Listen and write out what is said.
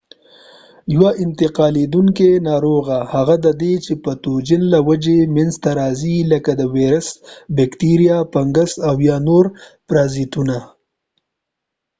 یوه انتقالیدونکې ناروغي هغه ده چې د پتوجن له وجې منځته راځې لکه ویروس بکتریا فنګس او یا نور پرازیتونه